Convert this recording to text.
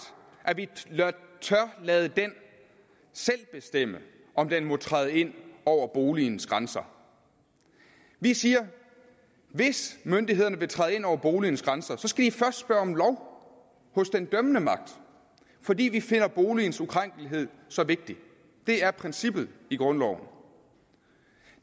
at vi tør lade den selv bestemme om den må træde ind over boligens grænser vi siger at hvis myndighederne vil træde ind over boligens grænser skal de først spørge om lov hos den dømmende magt fordi vi finder boligens ukrænkelighed så vigtig det er princippet i grundloven